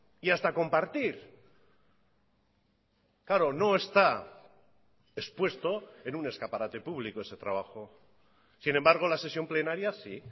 y hasta compartir claro no está expuesto en un escaparate público ese trabajo sin embargo la sesión plenaria sí